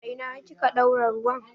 A ina kika ɗaura ruwan?